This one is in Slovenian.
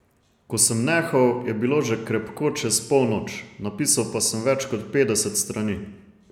Ko sem nehal, je bilo že krepko čez polnoč, napisal pa sem več kot petdeset strani.